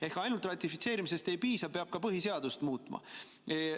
Ehk ainult ratifitseerimisest ei piisa, peab ka põhiseadust muutma.